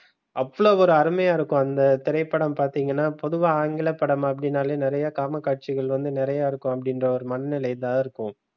அவ்வளவு ஒரு அருமையா இருக்கும் அந்த திரைப்படம் பார்த்தீங்கன்னா பொதுவா ஆங்கில படம் அப்படின்னாலே. நிறைய காம காட்சிகள் வந்து நிறைய இருக்கும் அப்படி என்ற ஒரு மனநிலை தான் இருக்கும்.